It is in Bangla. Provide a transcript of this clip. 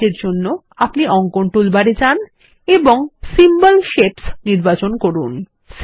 এই কাজের জন্য আপনি অঙ্কন টুলবারে যান এবং সিম্বল শেপস নির্বাচন করুন